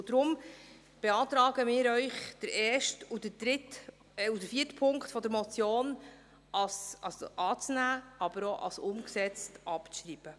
Deshalb beantragen wir Ihnen, den ersten und den vierten Punkt der Motion anzunehmen, aber auch als umgesetzt abzuschreiben.